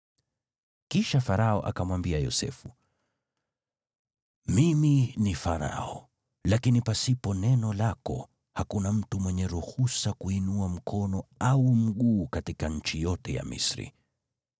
Kisha Farao akamwambia Yosefu, “Mimi ni Farao, lakini pasipo neno lako, hakuna mtu mwenye ruhusa kuinua mkono au mguu katika nchi yote ya Misri.”